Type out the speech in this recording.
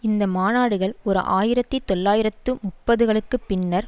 இந்த மாநாடுகள் ஓர் ஆயிரத்தி தொள்ளாயிரத்து முப்பது களுக்கு பின்னர்